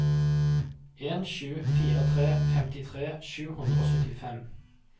en sju fire tre femtitre sju hundre og syttifem